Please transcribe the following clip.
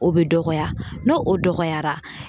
O bɛ dɔgɔya, n'o o dɔgɔyara